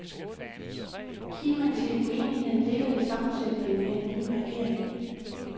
Kimen til uenigheden ligger i sammensætningen af en ny regering.